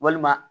Walima